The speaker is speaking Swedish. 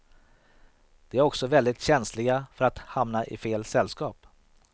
De är också väldigt känsliga för att hamna i fel sällskap.